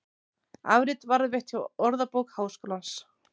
Afrit varðveitt hjá Orðabók Háskólans.